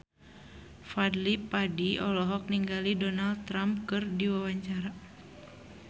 Fadly Padi olohok ningali Donald Trump keur diwawancara